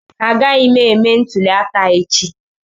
Agaghị m eme ntuli aka echi